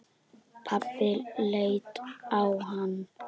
Pabbi leit á hann.